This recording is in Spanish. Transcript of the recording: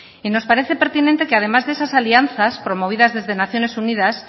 y nos parece pertinente que además de esas alianzas promovidas desde naciones unidas